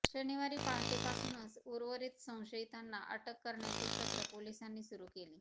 शनिवारी पहाटेपासूनच उर्वरीत संशयितांना अटक करण्याचे सत्र पोलिसांनी सुरू केले